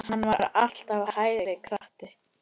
Hann var alltaf hægri krati!